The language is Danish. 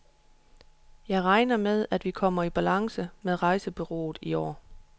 Jeg regner med, at vi kommer i balance med rejsebureauet i år.